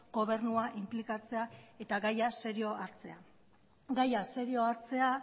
gobernua inplikatzea eta gaia serio hartzea gaia serio hartzea